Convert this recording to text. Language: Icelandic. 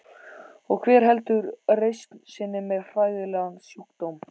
Og hver heldur reisn sinni með hræðilegan sjúkdóm?